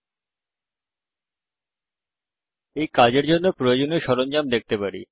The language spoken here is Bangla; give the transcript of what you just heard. আমরা এই কাজের জন্য প্রয়োজনীয় সরঞ্জাম দেখতে পারি